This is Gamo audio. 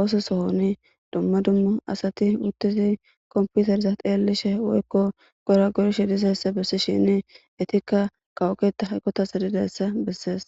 ooso sohoni dumma dummu asati uttidi komputereza xeellishe woykko goragorishe dizayissa bessishinni etikka kawo keta eqqata gididayssa bessees.